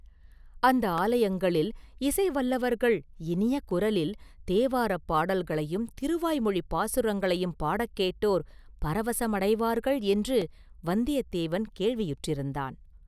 அந்த ஆலயங்களில் இசை வல்லவர்கள் இனிய குரலில் தேவாரப் பாடல்களையும் திருவாய்மொழிப் பாசுரங்களையும் பாடக்கேட்டோர் பரவசமடைவார்கள் என்று வந்தியத்தேவன் கேள்வியுற்றிருந்தான்.